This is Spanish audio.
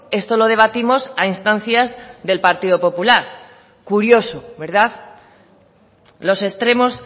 esto lo debatimos a instancia del partido popular curioso verdad los extremos